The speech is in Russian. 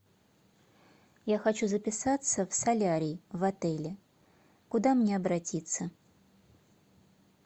я хочу записаться в солярий в отеле куда мне обратиться